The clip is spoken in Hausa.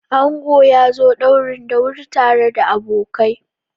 Ango ya zo ɗaurin da wuri tare da abokai.